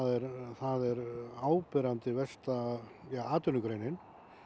það er áberandi versta atvinnugreinin